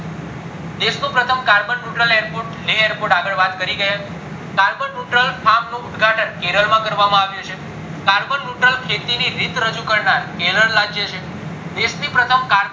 દેશ નું પ્રથમ carbon neutral airport લે airport આગળ વાત કરી ગયા carbon neutral નું ઉદ્ઘાટન કેરળ માં કરવામાં આવ્યું છે carbon neutral ખેતી ની રીત રજુ કરનાર કેરલ રાજ્ય છે દેશ ની પ્રથમ carbon